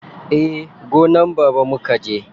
Eh, gonan baba mukaje.